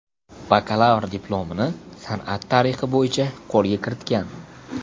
Bakalavr diplomini san’at tarixi bo‘yicha qo‘lga kiritgan.